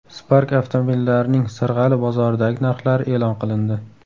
Spark avtomobillarining Sirg‘ali bozoridagi narxlari e’lon qilindi.